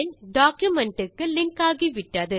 document க்கு link ஆகிவிட்டது